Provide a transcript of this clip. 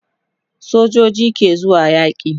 sojoji ke zuwa yaki